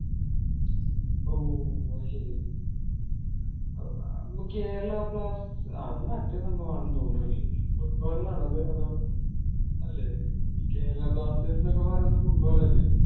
ഓഹ് അതുശെരി അഹ് കേരള blast അത് മറ്റേ സംഭവം ആണെന്ന് തോന്നുന്നല്ലോ foot ball ലാണോ അത് അതോ അല്ലെ ഈ കേരള blasters എന്നൊക്കെ പറയുന്നേ foot ball അല്ലേ